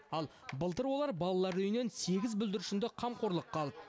ал былтыр олар балалар үйінен сегіз бүлдіршінді қамқорлыққа алды